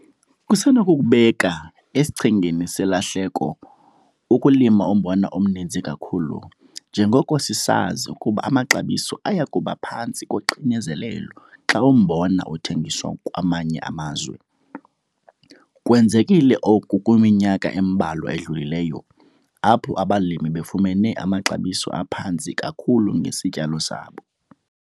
Kusenokukubeka esichengeni selahleko ukulima umbona omninzi kakhulu njengoko sisazi ukuba amaxabiso aya kuba phantsi koxinzelelo xa umbona uthengiswa kwamanye amazwi. Kwenzekile oku kwiminyaka embalwa edlulileyo apho abalimi befumene amaxabiso aphantsi kakhulu ngesityalo sabo.